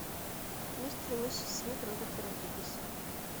мистер и миссис смит роберта родригеса